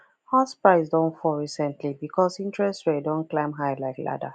house price don fall recently because interest rate don climb high like ladder